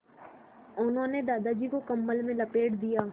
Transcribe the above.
उन्होंने दादाजी को कम्बल में लपेट दिया